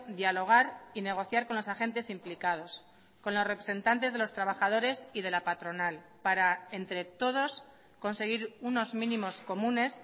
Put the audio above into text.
dialogar y negociar con los agentes implicados con los representantes de los trabajadores y de la patronal para entre todos conseguir unos mínimos comunes